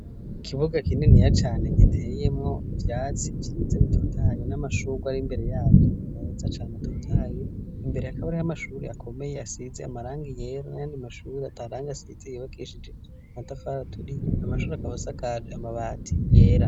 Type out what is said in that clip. Ikibuga kinini ya cane giteyemwo ivyatsi vyiza bitotaye n'amashura ar'imbere yavyo meza cane atotahaye, imbere hakaba hari amashuri akomeye asize amaranga yera nayandi mashuri atarangi asize yubakishije matafara aturiye ,amashuri akaba asakaje amabati yera.